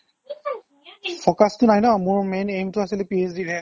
focus টো নাই ন মোৰ main aim টো আছিলে PhD ৰ হে